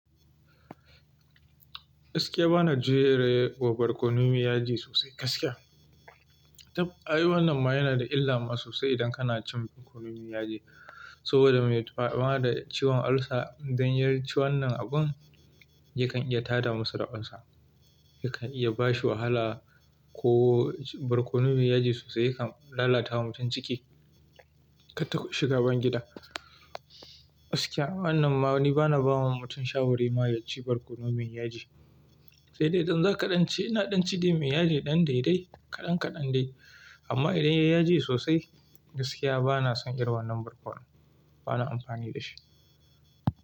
Gaskiya bana ji rai ko barkono mai yaji sosai gaskiya. Tab, ai wannan ma yana da illa ma sosai idan kana cin barkono miyan yaji. Saboda me faɗa da ciwon ulcer idan ya ci wannan abun yakan iya tada musu da ulcer. Yakan iya bashi wahala ko barkono mai yaji sosai yakan lalatawa mutum ciki, kan tashi shiga bangida. Gaskiya wannan ma ni bana ba wa mutum shawara ma ya ci barkono miyan yaji. Sai dai idan zakaɗance inaɗanci dai mai yaji ɗan daidai kaɗan kaɗan dai amma idan ya yi yaji sosai gaskiya bana son irin wannan barkono, bana amfani da shi.